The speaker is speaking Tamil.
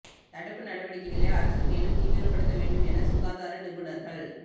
தடுப்பு நடவடிக்கைகளை அரசு மேலும் தீவிரப்படுத்த வேண்டும் என சுகாதார நிபுணர்கள்